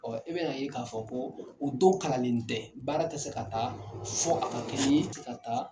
e bɛn'a ye k'a fɔ ko u dow kalannen tɛ. Baara tɛ se ka taa fɔ a ka k'i ye ka taa